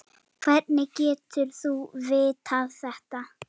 Hvernig getur þú vitað þetta?